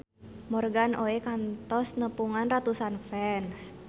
Morgan Oey kantos nepungan ratusan fans